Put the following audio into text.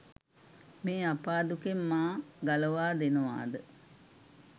මේ අපා දුකෙන් මා ගලවා දෙනවාද?